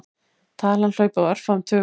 Talan hlaupi á örfáum tugum.